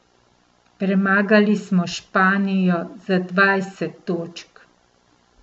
Premagali smo Španijo za dvajset točk.